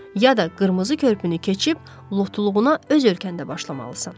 ya da qırmızı körpünü keçib lotuluğuna öz ölkəndə başlamalısan.